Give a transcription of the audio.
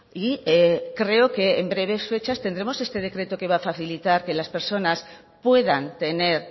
y creo que en breves fechas tendremos este decreto que va facilitar que las personas puedan tener